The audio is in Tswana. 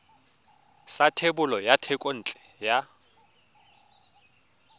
sa thebolo ya thekontle ya